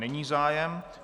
Není zájem.